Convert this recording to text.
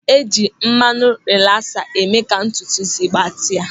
E ji mmanụ rilasa eme ka ntutu ísí gbatịa.